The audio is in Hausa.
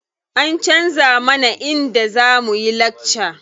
An canza mana inda za muyi lakca.